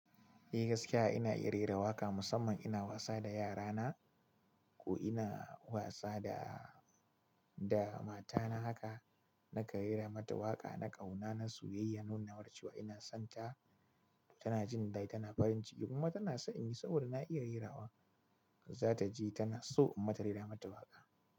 Eh gaskiya ina iya rera waƙa musamman ina wasa da yara na ko ina wasa da mata na haka nakan rera mata waƙa na ƙauna na soyayya nunamata cewa ina son ta tana jin daɗi tana farin ciki kuma tana son in yi saboda na iya rera waƙa za ta ji tana so in mata rera mata waƙa.